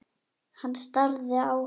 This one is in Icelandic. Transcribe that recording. Hann starði á hann.